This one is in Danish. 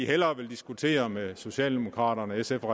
hellere vil diskutere med socialdemokraterne sf og